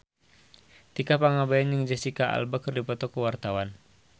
Tika Pangabean jeung Jesicca Alba keur dipoto ku wartawan